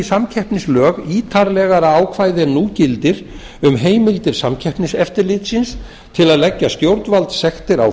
samkeppnislög ítarlegra ákvæði en nú gildir um heimildir samkeppniseftirlitsins til að leggja stjórnvaldssektir á